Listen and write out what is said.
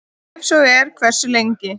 Ef svo er, hversu lengi?